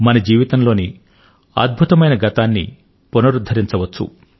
మన జీవితం లోని అద్భుతమైన గతాన్ని పునరుద్ధరించవచ్చు